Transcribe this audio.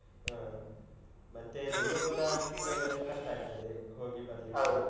ಹ. ಮತ್ತೇ ದೂರ ದೂರ ಆದ್ರೆ ಅದು ಕಷ್ಟ ಆಗ್ತದೆ, ಹೋಗಿ ಬರ್ಲಿಕ್ಕೆಲ್ಲ.